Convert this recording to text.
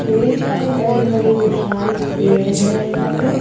ढेर सारे बड़े बड़े विशाल पेड़ है यहां पे--